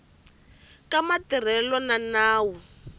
ka matirhelo ya nawu lowu